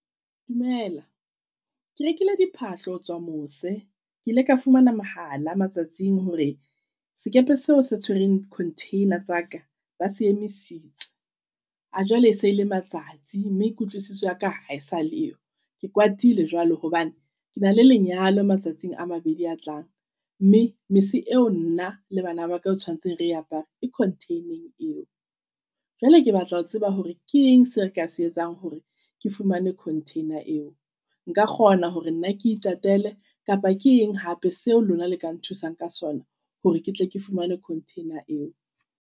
Dumela ke rekile diphahlo ho tswa mose. Ke ile ka fumana mohala matsatsing hore sekepe seo se tshwereng di-container tsa ka ba se emisitse. A jwale e se e le matsatsi mme kutlwisiso ya ka hae sa le yo. Ke kwatile jwalo hobane ke na le lenyalo matsatsing a mabedi a tlang. Mme mese eo nna le bana ba ka o tshwanetseng re apare e container-eng eo. Jwale ke batla ho tseba hore ke eng se re ka se etsang hore ke fumane container eo? Nka kgona hore nna ke itatele kapa ke eng hape seo lona le ka nthusang ka sona, hore ke tle ke fumane container eo?